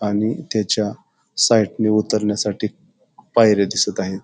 आणि त्याच्या साइडने उतरण्यासाठी पायऱ्या दिसत आहेत.